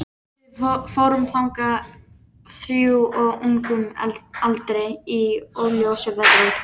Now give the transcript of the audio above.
Við fórum þangað þrjú á ungum aldri- í óljósu veðri.